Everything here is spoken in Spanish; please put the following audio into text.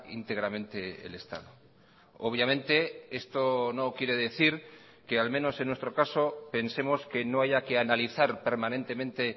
íntegramente el estado obviamente esto no quiere decir que al menos en nuestro caso pensemos que no haya que analizar permanentemente